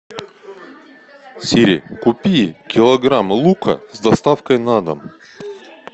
сири купи килограмм лука с доставкой на дом